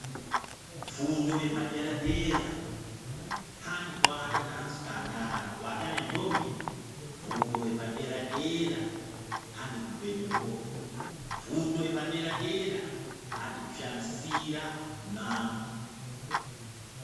Fundo yepadera dera hanti kuata nevasikana kana kuata nendombi .Fundo yepadera dera hanti kubhema forya fundo yepadera dera hanti kushamisira kune anhu.